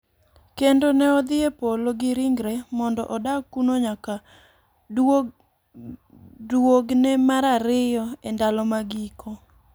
Kendo ne odhi e Polo gi ringre, mondo odag kuno nyaka duogne mar ariyo e ndalo mag giko.